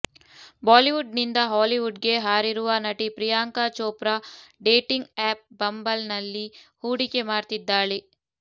Bollywood ನಿಂದ Hollywood ಗೆ ಹಾರಿರುವ ನಟಿ Priyanka Chopra dating app Bumble ನಲ್ಲಿ ಹೂಡಿಕೆ ಮಾಡ್ತಿದ್ದಾಳೆ